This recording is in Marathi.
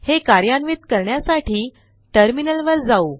हे कार्यान्वित करण्यासाठी टर्मिनलवर जाऊ